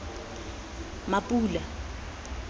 mapula